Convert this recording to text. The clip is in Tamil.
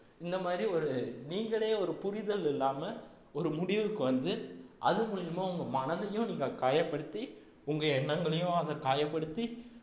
இந்த மாதிரி ஒரு நீங்களே ஒரு புரிதல் இல்லாம ஒரு முடிவுக்கு வந்து அது மூலியமா உங்க மனதையும் நீங்க காயப்படுத்தி உங்க எண்ணங்களையும் அதை காயப்படுத்தி